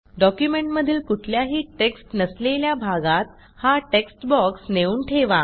डॉक्युमेंटमधील कुठल्याही टेक्स्ट नसलेल्या भागात हा टेक्स्ट बॉक्स नेऊन ठेवा